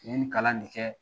N ye nin kalan ne kɛ